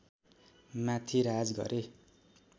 माथि राज गरे